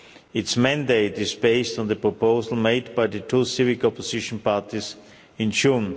Its mandate is based on the proposal made by the two civic opposition parties in June.